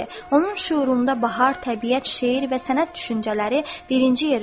Onun şüurunda bahar, təbiət, şeir və sənət düşüncələri birinci yeri tuturdu.